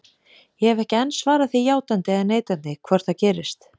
Ég hef ekki enn svarað því játandi eða neitandi hvort það gerist.